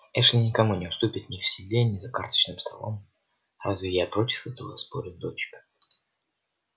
эшли никому не уступит ни в седле ни за карточным столом разве я против этого спорю дочка